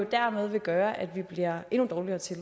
dermed vil gøre at vi bliver endnu dårligere til